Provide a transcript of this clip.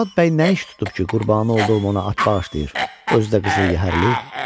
Murad bəy nə iş tutub ki, qurbanı olduğum ona at bağışlayır, özü də qızıl yəhərli?